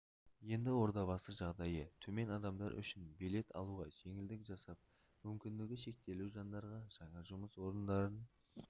енді ордабасы жағдайы төмен адамдар үшін билет алуға жеңілдік жасап мүмкіндігі шектеулі жандарға жаңа жұмыс орындарын